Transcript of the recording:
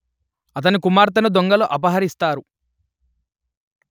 అతని కుమార్తెను దొంగలు అపహరిస్తారు